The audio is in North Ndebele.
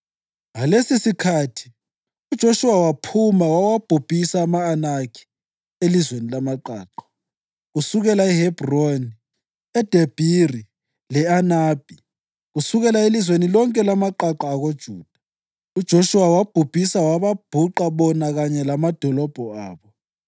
Ngalesosikhathi uJoshuwa waphuma wawabhubhisa ama-Anakhi elizweni lamaqaqa: kusukela eHebhroni, eDebhiri le-Anabhi, kusukela elizweni lonke lamaqaqa akoJuda. UJoshuwa wabhubhisa wababhuqa bona kanye lamadolobho abo.